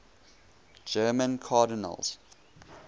german cardinals